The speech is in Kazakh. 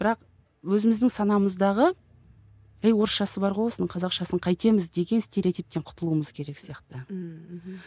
бірақ өзіміздің санамыздағы ей орысшасы бар ғой осының қазақшасын қайтеміз деген стереотиптен құтылуымыз керек сияқты ммм мхм